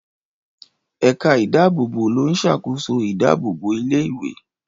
Ẹ̀ka ìdábòbò ló ń ṣàkóso idábòbò ilé ìwé